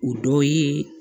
O dɔ ye